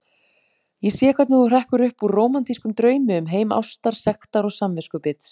Ég sé hvernig þú hrekkur upp úr rómantískum draumi um heim ástar, sektar og samviskubits.